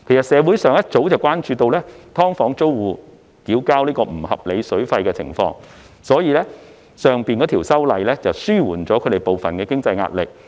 社會上早已關注到"劏房"租戶要向業主繳交不合理水費的情況，所以上述修例可紓緩他們部分經濟壓力。